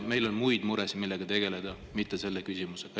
Meil on muid muresid, millega tegeleda, mitte selle küsimusega.